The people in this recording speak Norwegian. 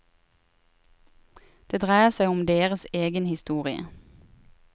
Det dreier seg om deres egen historie.